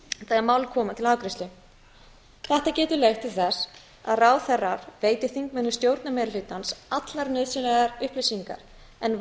þegar mál koma til afgreiðslu þetta getur leitt til þess að ráðherrar veiti þingmönnum stjórnarmeirihlutans allar nauðsynlegar upplýsingar en